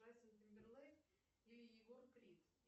джастин тимберлейк и егор крид